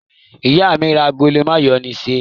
Ìyá mi ra agolo mayonnaise?